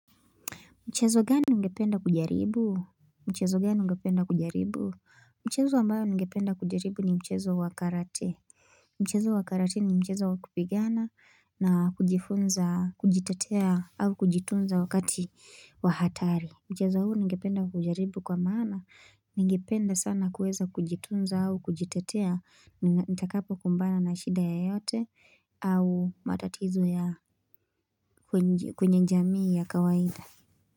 Mchezo gani ungependa kujaribu? Mchezo gani ungependa kujaribu? Mchezo ambayo ningependa kujaribu ni mchezo wa karate. Mchezo wa karate ni mchezo wa kupigana na kujifunza, kujitetea au kujitunza wakati wa hatari. Mchezo huu ningependa kujaribu kwa maana. Ningependa sana kuweza kujitunza au kujitatea nitakapo kumbana na shida yoyote au matatizo ya kwenye jamii ya kawaida.